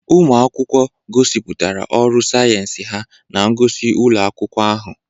Ụmụ akwụkwọ gosipụtara ọrụ sayensị ha na ngosi ụlọ akwụkwọ ahụ.